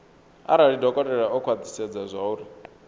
arali dokotela o khwathisedza zwauri